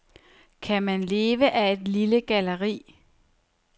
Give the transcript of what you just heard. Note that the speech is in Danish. Kan man leve af et lille galleri?